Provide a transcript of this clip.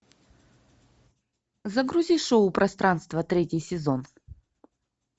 загрузи шоу пространство третий сезон